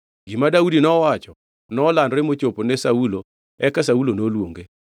Gima Daudi nowacho nolandore mochopo ne Saulo eka Saulo noluonge.